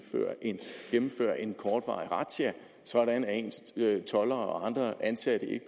gennemføres en kortvarig razzia sådan at toldere og andre ansatte ikke